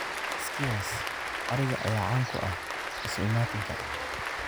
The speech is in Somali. Skewers ariga ayaa caan ku ah isu imaatinka.